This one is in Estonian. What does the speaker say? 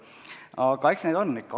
Aga eks neid on ikka.